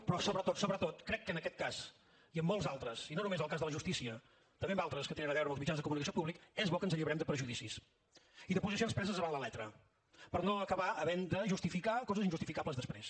però sobretot sobretot crec que en aquest cas i en molts altres i no només el cas de la justícia també en altres que tenen a veure amb els mitjans de comunicació públics és bo que ens alliberem de perjudicis i de posicions preses avant la lettre per no acabar havent de justificar coses injustificables després